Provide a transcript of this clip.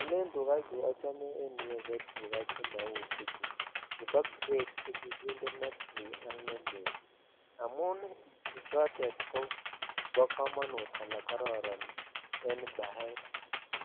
Elrn tukaa cheochome ko chemouchu chebo grade chekikinde netui ak ne lel amun tuchotet kobo komonutit ala kororon en baet